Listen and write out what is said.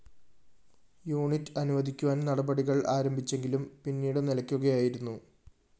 unit അനുവദിക്കുവാന്‍ നടപടികള്‍ ആരംഭിച്ചെങ്കിലും പിന്നീട് നിലക്കുകയായിരുന്നു